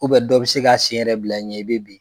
dɔ bɛ se ka sen yɛrɛ bila i ɲɛ i bɛ bin.